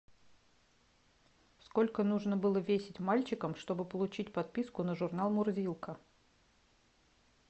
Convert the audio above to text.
сколько нужно было весить мальчикам чтобы получить подписку на журнал мурзилка